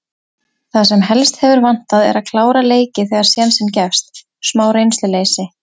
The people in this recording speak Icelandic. Það sem helst hefur vantað er að klára leiki þegar sénsinn gefst. smá reynsluleysi.